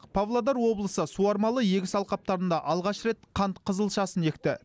павлодар облысы суармалы егіс алқаптарында алғаш рет қант қызылшасын екті